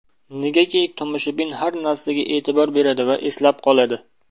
Negaki tomoshabin har narsaga e’tibor beradi va eslab qoladi.